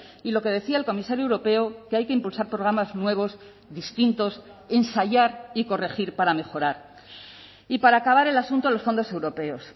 y lo que decía el comisario europeo que hay que impulsar programas nuevos distintos ensayar y corregir para mejorar y para acabar el asunto de los fondos europeos